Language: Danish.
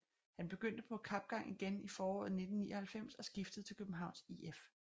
Han begyndte på kapgang igen i foråret 1999 og skiftede til Københavns IF